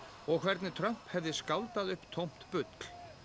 og hvernig Trump hefði skáldað upp tómt bull